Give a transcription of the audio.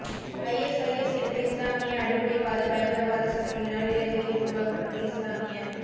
ISIS என்ற இஸ்லாமிய அடிப்படைவாத பயங்கரவாத சக்தியினால் இலங்கையில் உருவாக்கப்பட்ட இஸ்லாமிய